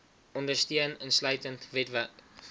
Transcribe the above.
ondersteun insluitend webwerf